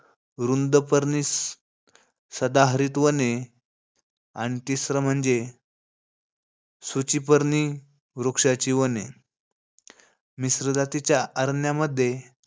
रुंदपर्णी सदाहरित वने आणि तिसरं म्हणजे, सूचिपर्णी वृक्षाची वने. मिश्र जातीच्या अरण्यामध्ये,